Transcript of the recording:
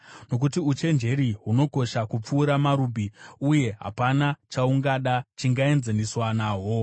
nokuti uchenjeri hunokosha kupfuura marubhi, uye hapana chaungada chingaenzaniswa nahwo.